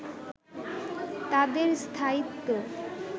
তাদের স্থায়িত্ব